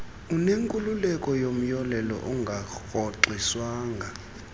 unenkululeko yomyolelo ongarhoxiswanga